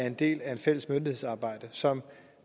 en del af et fælles myndighedsarbejde som